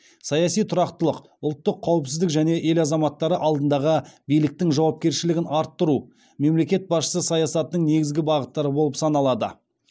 саяси тұрақтылық ұлттық қауіпсіздік және ел азаматтары алдындағы биліктің жауапкершілігін арттыру мемлекет басшысы саясатының негізгі бағыттары болып саналады